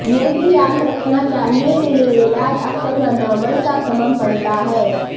یہ بھی یاد رکھنا چاہئے کہ یہ علاج اکثر ردعمل کا سبب بنتا ہے